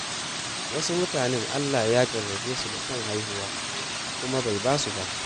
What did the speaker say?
Wasu mutanen Allah Ya jarrabe su da son haihuwa, kuma bai ba su ba.